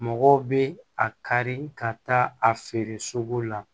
Mɔgɔw bɛ a kari ka taa a feere sugu la